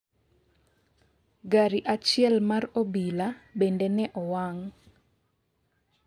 gari achiel mar obila bende ne owang'